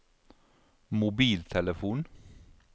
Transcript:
mobiltelefon